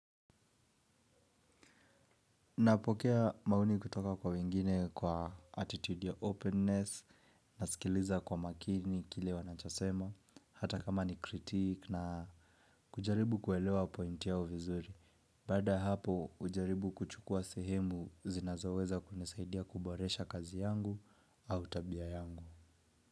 Napokea maoni kutoka kwa wengine kwa attitude ya openness, nasikiliza kwa makini kile wanachosema, hata kama ni kritik na kujaribu kuelewa point yao vizuri. Baada ya hapo hujaribu kuchukua sehemu zinazoweza kunisaidia kuboresha kazi yangu au tabia yangu.